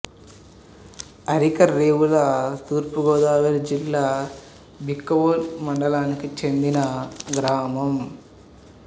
అరికరేవుల తూర్పు గోదావరి జిల్లా బిక్కవోలు మండలానికి చెందిన గ్రామం